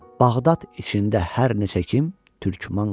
Bağdad içində hər neçə kim türkmən qopar.